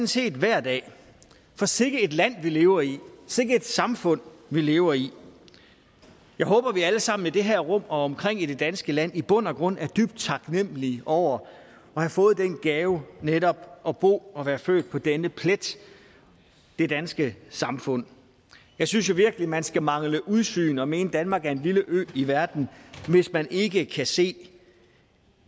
set hver dag for sikke et land vi lever i sikke et samfund vi lever i jeg håber at vi alle sammen i det her rum og omkring i det danske land i bund og grund er dybt taknemmelige over at have fået den gave netop at bo og være født på denne plet det danske samfund jeg synes virkelig man skal mangle udsyn og mene at danmark er en lille ø i verden hvis man ikke kan se